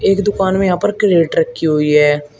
एक दुकान में यहां पर कैरेट रखी हुई है।